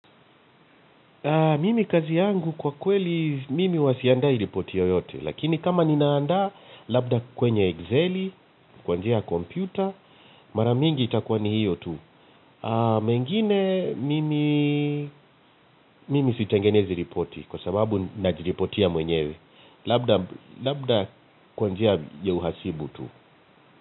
Mimi kazi yangu kwa kweli, mimi huwa siandai ripoti yoyote. Lakini kama ninaanda, labda kwenye Excel, kwa njia ya kompyuta, mara mingi itakuwa ni hiyo tu. Mengine mimi sitengenezi ripoti kwa sababu najiripotia mwenyewe. Labda kwa njia ya uhasibu tu.